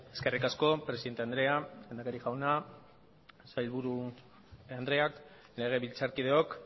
eskerrik asko presidente andrea lehendakari jauna sailburu andrea legebiltzarkideok